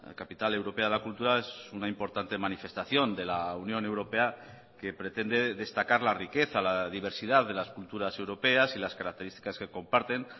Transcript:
capital europea de la cultura es una importante manifestación de la unión europea que pretende destacar la riqueza la diversidad de las culturas europeas y las características que comparten